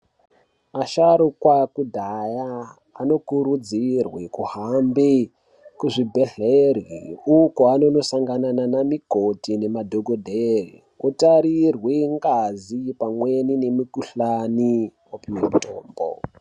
Asharuka ekudhaya anokurudzirwa kuhamba kuzvibhedhlera uko kwaanondosangana nana mukoti nanadhokodheya kutarirwa ngazi nemukuhlani opiwe mutombo.